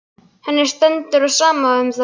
Henni stendur á sama um það.